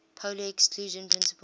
pauli exclusion principle